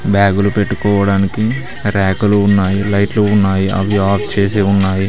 బ్యాగులు పెట్టుకోవడానికి ర్యాకులు ఉన్నాయి లైట్లు ఉన్నాయి అవి ఆఫ్ చేసి ఉన్నాయి.